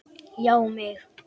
Já mig!